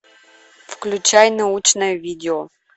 включай научное видео